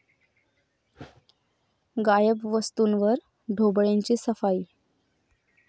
गायब वस्तूंवर ढोबळेंची 'सफाई'